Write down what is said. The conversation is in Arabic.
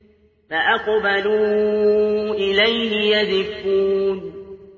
فَأَقْبَلُوا إِلَيْهِ يَزِفُّونَ